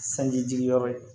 Sanji jigi yɔrɔ ye